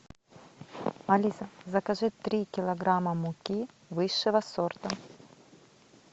алиса закажи три килограмма муки высшего сорта